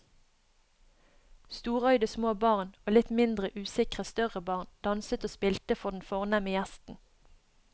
Storøyde små barn og litt mindre usikre større barn danset og spilte for den fornemme gjesten.